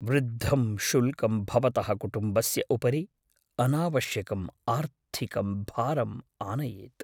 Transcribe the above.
वृद्धं शुल्कं भवतः कुटुम्बस्य उपरि अनावश्यकं आर्थिकं भारम् आनयेत्।